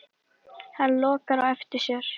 Hann lokar á eftir sér.